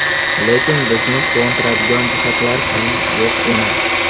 Lekin bizni quvontiradigan jihatlar ham yo‘q emas.